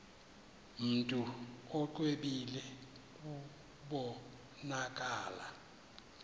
mntu exwebile kubonakala